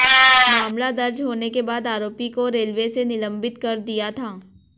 मामला दर्ज होने के बाद आरोपी को रेलवे ने निलंबित कर दिया था